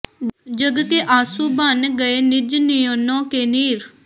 ਜਗ ਕੇ ਆਂਸੂ ਬਨ ਗਏ ਨਿਜ ਨਯਨੋਂ ਕੇ ਨੀਰ